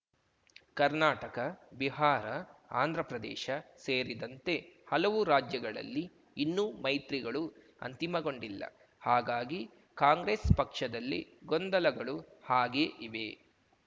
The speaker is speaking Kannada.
ಕರ್ನಾಟಕ ಬಿಹಾರ ಆಂಧ್ರಪ್ರದೇಶ ಸೇರಿದಂತೆ ಹಲವು ರಾಜ್ಯಗಳಲ್ಲಿ ಇನ್ನೂ ಮೈತ್ರಿಗಳು ಅಂತಿಮಗೊಂಡಿಲ್ಲ ಹಾಗಾಗಿ ಕಾಂಗ್ರೆಸ್ ಪಕ್ಷದಲ್ಲಿ ಗೊಂದಲಗಳು ಹಾಗೆ ಇವೆ